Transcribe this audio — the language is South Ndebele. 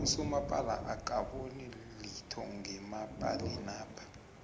usomapala akaboni litho ngemapalinapha